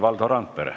Valdo Randpere.